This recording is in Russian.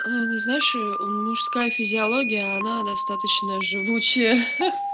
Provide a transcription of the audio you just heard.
не знаешь и он мужская физиология она достаточно живучая ха-ха